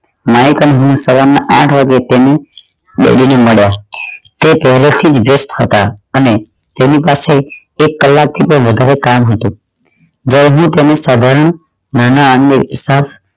Mike અને હું સવાર ના આઠ વાગે તેની daddy ને મળ્યા તે પહલે થી વ્યસ્ત હતા અને તેની પાસે એક કલાક થી પણ વધારે કામ હતું ગરીબી તેમની સાધારણ માં ના આગણે